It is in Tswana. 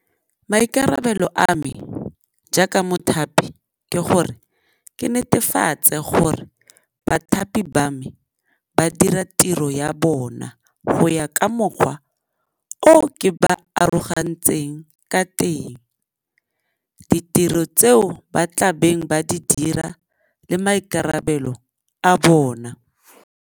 Maikarabelo a me jaaka mothapi ke gore ke netefatse gore bathapi ba me ba dira tiro ya bona go ya ka mokgwa o ke ba arogantseng ka teng, ditiro tseo ba tla beng ba di dira le maikarabelo a bona.